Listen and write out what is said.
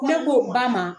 Ne k'o ba ma